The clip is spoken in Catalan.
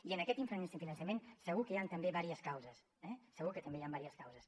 i en aquest infrafinançament segur que hi han també diverses causes eh segur que també hi ha diverses causes